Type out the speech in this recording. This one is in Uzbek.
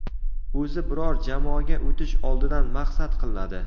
O‘zi biror jamoaga o‘tish oldidan maqsad qilinadi.